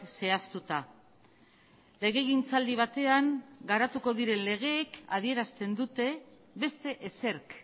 zehaztuta legegintzaldi batean garatuko diren legeek adierazten dute beste ezerk